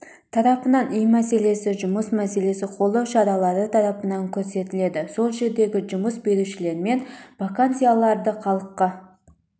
тарапынан үй мәселесі жұмыс мәселесі қолдау шаралары тарапынан көрсетіледі сол жердегі жұмыс берушілермен вакансияларды халыққа